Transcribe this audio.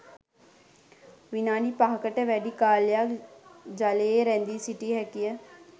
විනාඩි පහකට වැඩි කාලයක් ජලයේ රැඳී සිටිය හැකි ය